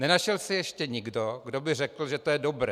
Nenašel se ještě nikdo, kdo by řekl, že to je dobré.